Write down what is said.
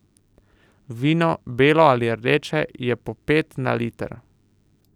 Vino, belo ali rdeče, je po pet na liter.